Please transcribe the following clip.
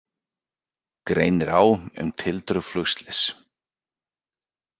Greinir á um tildrög flugslyss